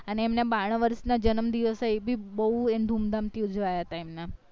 અને એમના બાણું વર્ષ ના જન્મ દિવસ અય એ ભીબ બૌ એમ ધૂમ ધામ થી ઉજવાય હતા એમના